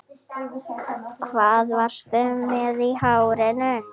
Hvað varstu með í hárinu